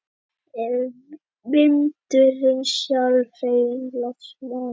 En vindurinn, sjálf hreyfing loftmassans frá austri til vesturs, kom ekki að austan.